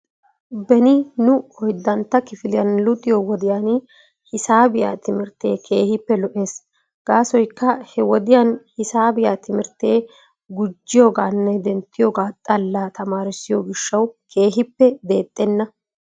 Beni nu oyddantta kifiliyan luxxiyoo wodiyan hisaabiyaa timirtee keehippe lo'ees. Gaasoykka he wodiyan hisaabiyaa timirtee gujiyoogaanne denttiyoogaa xalla tamaaressiyo gishshaw keehippe deexxenna.